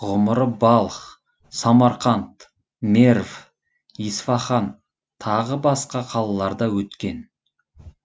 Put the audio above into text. ғұмыры балх самарқанд мерв исфаһан тағы басқа қалаларда өткен